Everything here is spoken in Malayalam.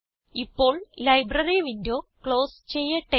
ഇപ്പോൾ ലൈബ്രറി വിൻഡോ ക്ലോസ് ചെയ്യട്ടെ